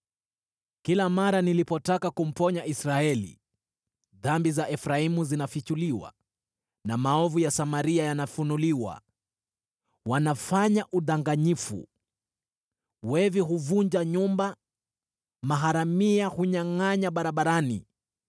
kila mara nilipotaka kumponya Israeli, dhambi za Efraimu zinafichuliwa na maovu ya Samaria yanafunuliwa. Wanafanya udanganyifu, wevi huvunja nyumba, maharamia hunyangʼanya barabarani,